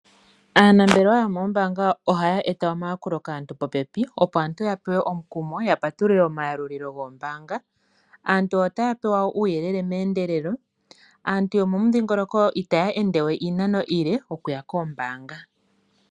Aanambelewa yomoombanga ohayeeta omayakulo popepi opo aantu yapewe omukumo yo yapatulule omayalulilo goombanga. Aantu ohapewa uuyelele mendelelo naantu yomomudhingoloko ita yendewe iinano iile okuya koombanga.